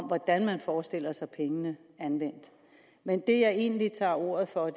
hvordan man forestiller sig pengene anvendt men det jeg egentlig tager ordet for